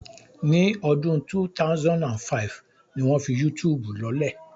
Ní ọdún 2005 ni wọ́n fi Yútùùbù lọ́lẹ̀